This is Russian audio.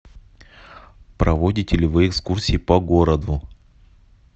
проводите ли вы экскурсии по городу